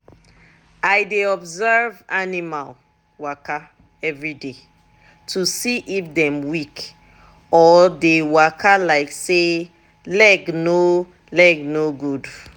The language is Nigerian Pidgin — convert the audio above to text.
i dey observe animal waka everyday to see if dem weak or dey waka like say leg no leg no good.